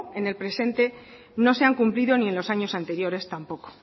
en el presente no se han cumplido ni en los años anteriores tampoco